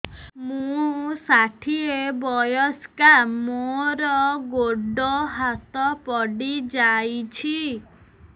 ମୁଁ ଷାଠିଏ ବୟସ୍କା ମୋର ଗୋଡ ହାତ ପଡିଯାଇଛି